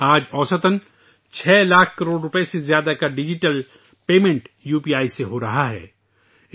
آج ، اوسطا 6 لاکھ کروڑ روپے سے زیادہ کی ڈیجیٹل ادائیگی یو پی آئی کے ذریعہ کی جا رہی ہے